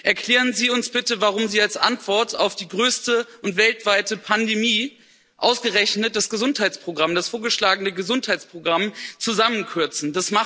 Erklären Sie uns bitte, warum Sie als Antwort auf die größte und weltweite Pandemie ausgerechnet das Gesundheitsprogramm, das vorgeschlagene Gesundheitsprogramm, zusammenkürzen!